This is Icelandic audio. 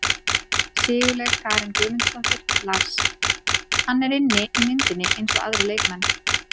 Sigurlaug Karen Guðmundsdóttir Lars: Hann er inni í myndinni eins og aðrir leikmenn.